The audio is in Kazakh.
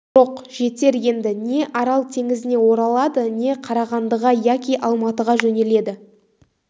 жоқ жетер енді не арал теңізіне оралады не қарағандыға яки алматыға жөнеледі